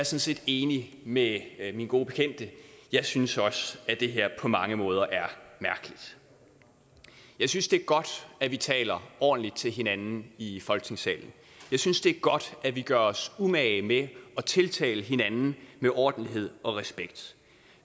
set enig med min gode bekendte jeg synes også at det her på mange måder er mærkeligt jeg synes det er godt at vi taler ordentligt til hinanden i folketingssalen jeg synes det er godt at vi gør os umage med at tiltale hinanden med ordentlighed og respekt